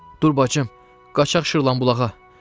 Dur bacım, qaçaq Şırlan bulağa!